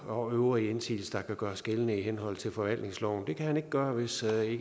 og øvrige indsigelser der kan gøres gældende i henhold til forvaltningsloven det kan han ikke gøre hvis